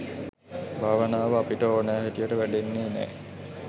භාවනාව අපිට ඕනෙ හැටියට වැඩෙන්නෙ නෑ.